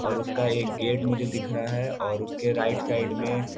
और उसका एक गेट मुझे दिख रहा है और उसके राइट साइड में --